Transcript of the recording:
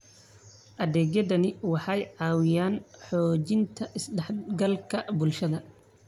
Adeegyadani waxay caawiyaan xoojinta is-dhexgalka bulshada.